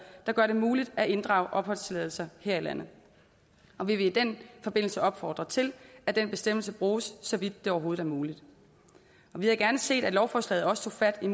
der gør det muligt at inddrage opholdstilladelser her i landet og vi vil i den forbindelse opfordre til at den bestemmelse bruges så vidt det overhovedet er muligt vi havde gerne set at lovforslaget også tog fat i